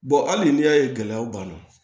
hali n'i y'a ye gɛlɛyaw b'a la